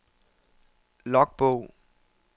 logbog